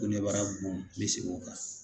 Ko nebara bon n be seg'o kan